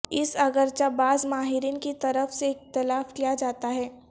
اس اگرچہ بعض ماہرین کی طرف سے اختلاف کیا جاتا ہے